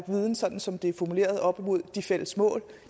viden sådan som det er formuleret op imod de fælles mål